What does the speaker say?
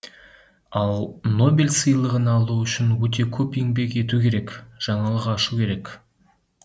ал нобель сыйлығын алу үшін өте көп еңбек ету керек жаңалық ашу керек